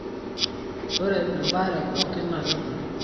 ore embaare pooki na kegol.